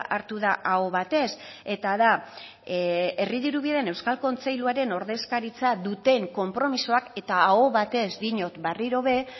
hartu da aho batez eta da herri dirubideen euskal kontseiluaren ordezkaritza duten konpromisoak eta aho batez diot berriro ere